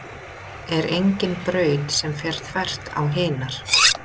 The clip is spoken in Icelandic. Er engin braut sem fer þvert á hinar?